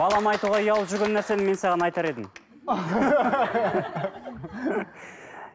балама айтуға ұялып жүрген нәрсені мен саған айтар едім